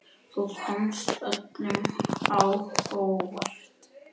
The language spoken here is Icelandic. Þú komst öllum á óvart.